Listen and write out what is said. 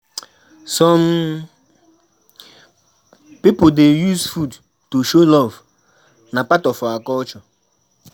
Some pipo dey use food to show love; na part of our culture.